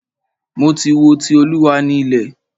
Mo ti wo "Ti Olúwa ni ilẹ̀".